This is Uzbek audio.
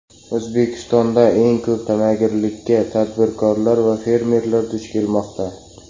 O‘zbekistonda eng ko‘p tamagirlikka tadbirkorlar va fermerlar duch kelmoqda.